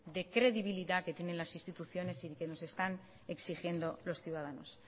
de credibilidad que tienen las instituciones y que nos están exigiendo los ciudadanos